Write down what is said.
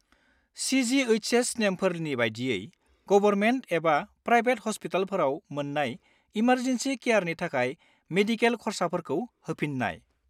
CGHS. नेमफोरनि बायदियै, government एबा प्रायबेट हस्पिटालफोराव मोन्नाय इमारजेन्सि केयारनि थाखाय मेडिकेल खर्साफोरखौ होफिननाय।